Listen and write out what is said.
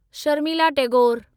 Sharmila Tagore